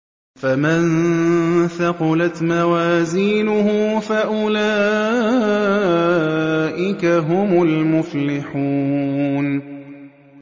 فَمَن ثَقُلَتْ مَوَازِينُهُ فَأُولَٰئِكَ هُمُ الْمُفْلِحُونَ